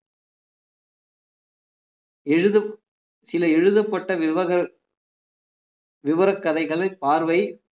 எழுதப்~ சில எழுதப்பட்ட விவகார விவரக் கதைகளை பார்வை